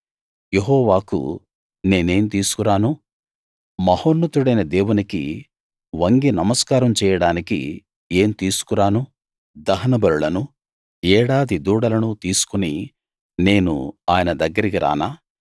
యెహోవాకు నేనేం తీసుకురాను మహోన్నతుడైన దేవునికి వంగి నమస్కారం చేయడానికి ఏం తీసుకురాను దహనబలులనూ ఏడాది దూడలనూ తీసుకుని నేను ఆయన దగ్గరికి రానా